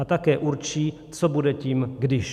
A také určí, co bude tím když.